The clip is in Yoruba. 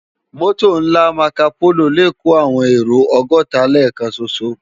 Mòtó nlá Mákópóló lè kó áwòn éró ògòtá lèkán ṣóṣó